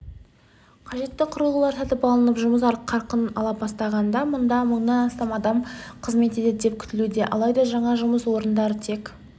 қажетті құрылғылар сатып алынып жұмыс қарқын ала бастағанда бұнда мыңнан астам адам қызмет етеді деп күтілуде алайда жаңа жұмыс орындары тек